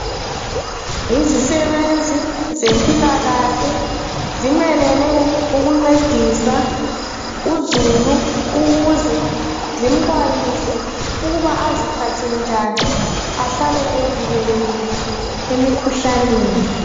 Yizisebenzi zempilakahle zimelele ukuncedisa uzulu ukuze zimxwayise ukuba aziphathe njani ahlale evikelekile emikhuhlaneni.